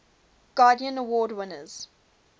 guardian award winners